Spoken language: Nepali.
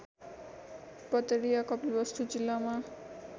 पतरिया कपिलवस्तु जिल्लामा